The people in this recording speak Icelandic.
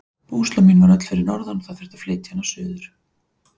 Búslóð mín var öll fyrir norðan og það þurfti að flytja hana suður.